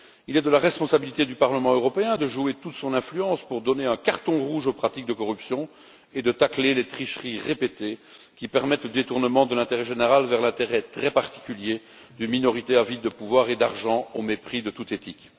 Il est de la responsabilité du Parlement européen de jouer de toute son influence pour sanctionner d'un carton rouge les pratiques de corruption et tacler les tricheries répétées, qui permettent un détournement de l'intérêt général vers l'intérêt très particulier d'une minorité avide de pouvoir et d'argent, au mépris de toute éthique.